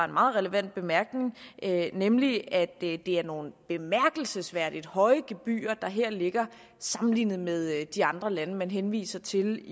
meget relevant bemærkning nemlig at det er nogle bemærkelsesværdigt høje gebyrer der her ligger sammenlignet med de andre lande man henviser til